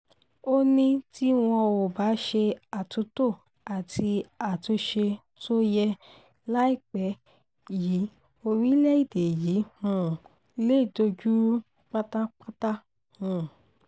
ó ní tí wọn ò bá ṣe àtúntò àti àtúnṣe tó yẹ láìpẹ́ yìí orílẹ̀-èdè yìí um lè dojú rú pátápátá um